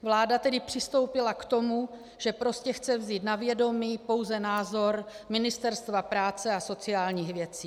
Vláda tedy přistoupila k tomu, že prostě chce vzít na vědomí pouze názor Ministerstva práce a sociálních věcí.